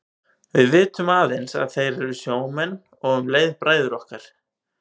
Við vitum aðeins að þeir eru sjómenn og um leið bræður okkar.